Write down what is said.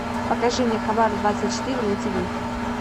покажи мне хабар двадцать четыре на тиви